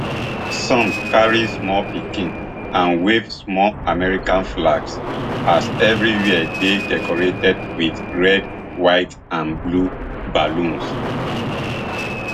some carry small pikins and wave small american flags as evri wia dey decorated wit red white and blue balloons